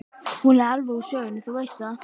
Hún er alveg úr sögunni, þú veist það.